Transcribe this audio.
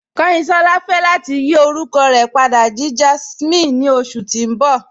Kanyinsọla fẹ lati yí orúkọ rẹ pàdà sí Jásminè ni oṣù tí n bọ̀